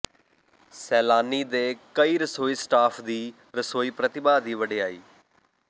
ਸੈਲਾਨੀ ਦੇ ਕਈ ਰਸੋਈ ਸਟਾਫ ਦੀ ਰਸੋਈ ਪ੍ਰਤਿਭਾ ਦੀ ਵਡਿਆਈ